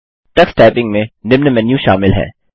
Tux typing में निम्न menu शामिल हैं